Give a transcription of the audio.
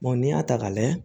n'i y'a ta k'a layɛ